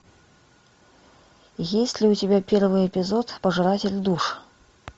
есть ли у тебя первый эпизод пожиратель душ